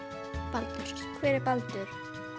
Baldurs hver er Baldur